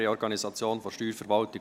«Reorganisation der Steuerverwaltung